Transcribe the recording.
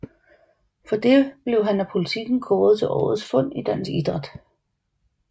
For det blev han af Politiken kåret til Årets Fund i dansk idræt